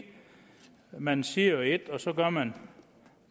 man siger et og så gør man